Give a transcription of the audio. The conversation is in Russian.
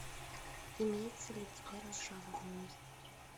имеется ли у тебя разжалованный